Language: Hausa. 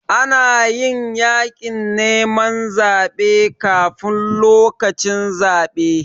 Ana yin yaƙin neman zaɓe kafun lokacin zaɓe.